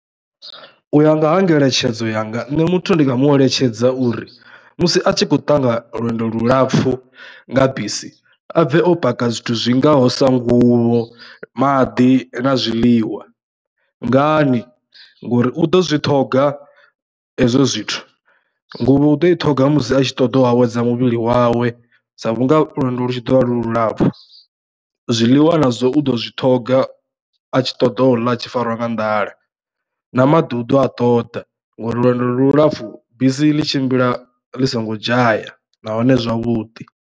U ya nga ha ngeletshedzo yanga nṋe muthu ndi nga mueletshedza uri musi a tshi khou ṱangana lwendo lulapfhu nga bisi a bve o paka zwithu zwingaho sa nguvho, maḓi na zwiḽiwa. Ngani? Ngori u ḓo zwi ṱhoga hezwo zwithu nguvho u ḓo i ṱhoga musi a tshi ṱoḓa u awedza muvhili wawe dza vhunga lwendo lu tshi ḓo vha lu lulapfhu, zwiḽiwa na zwo u ḓo zwi ṱhoga a tshi ṱoḓa u ḽa a tshi fariwa nga nḓala na maḓi u ḓo a ṱoḓa ngori lwendo lulapfhu bisi ḽi tshimbila ḽi songo dzhaya nahone zwavhuḓi.